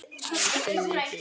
Æ, þið vitið.